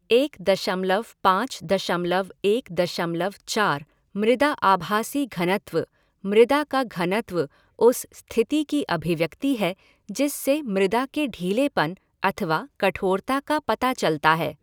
एक दशमलव पाँच दशमलव एक दशमलव चार, मृदा आभासी घनत्व मृदा का घनत्व उस स्थिति की अभिव्यक्ति है जिससे मृदा के ढीलेपन अथवा कठोरता का पता चलता है।